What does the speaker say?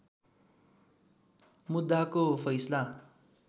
मुद्दाको फैसला